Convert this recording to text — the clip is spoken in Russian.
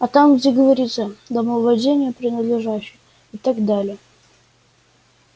а там где говорится домовладение принадлежащее и так далее